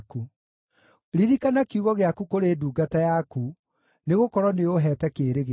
Ririkana kiugo gĩaku kũrĩ ndungata yaku, nĩgũkorwo nĩũũheete kĩĩrĩgĩrĩro.